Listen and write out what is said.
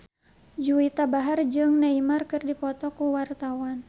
Juwita Bahar jeung Neymar keur dipoto ku wartawan